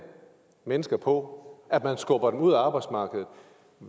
mennesker på at man skubber dem ud af arbejdsmarkedet